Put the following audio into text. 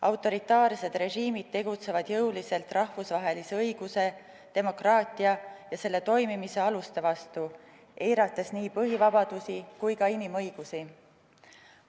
Autoritaarsed režiimid tegutsevad jõuliselt rahvusvahelise õiguse, demokraatia ja selle toimimise aluste vastu, eirates nii põhivabadusi kui ka inimõigusi.